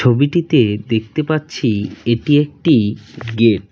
ছবিটিতে দেখতে পাচ্ছি এটি একটি গেট ।